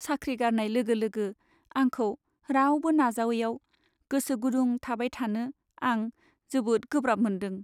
साख्रि गारनाय लोगो लोगो आंखौ रावबो नाजावैयाव गोसो गुदुं थाबाय थानो आं जोबोद गोब्राब मोनदों।